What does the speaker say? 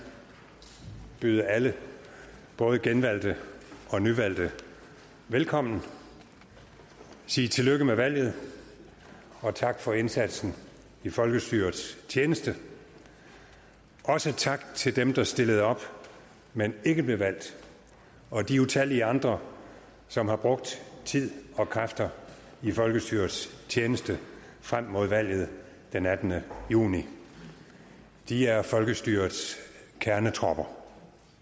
byde alle både genvalgte og nyvalgte velkommen sige tillykke med valget og tak for indsatsen i folkestyrets tjeneste også tak til dem der stillede op men ikke blev valgt og de utallige andre som har brugt tid og kræfter i folkestyrets tjeneste frem mod valget den attende juni de er folkestyrets kernetropper